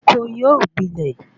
Oko yóò gbilẹ